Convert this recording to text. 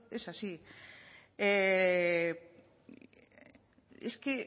es así es que